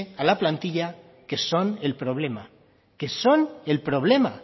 a la plantilla que son el problema que son el problema